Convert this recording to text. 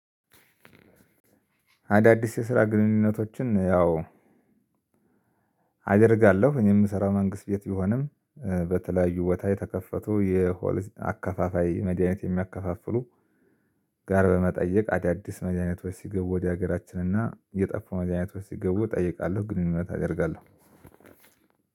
አዳዲስ የስራ ግንኙነቶችን ያው አደርጋለሁ እኔ የምሰራው መንግስት ቤት ቢሆንም በተለያዩ ቦታ የተከፈቱ የሆል አካፋፋይ መድሃኒት የሚያከፋፍሉ ጋር በመጠየቅ አዳዲስ መዳኒቶች ሲገቡ ወደ ሀገራችን እና የጠፉ መዳኒቶች ሲገቡ እጠይቃለሁ። ግንኙነት አደርጋለሁ።